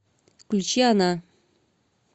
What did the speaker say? включи она